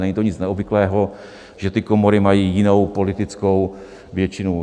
Není to nic neobvyklého, že ty komory mají jinou politickou většinu.